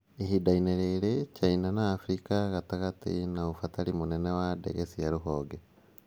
Ihinda-inĩ rĩrĩ, China na Afrika ya gatagatĩ ĩna ũbatari mũnene wa ndege cia rũhonge.